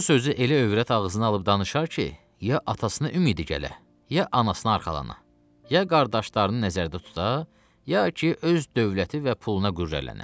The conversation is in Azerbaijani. Bu sözü elə övrət ağzına alıb danışar ki, ya atasına ümidi gələ, ya anasına arxalana, ya qardaşlarını nəzərdə tuta, ya ki öz dövləti və puluna qürrələnə.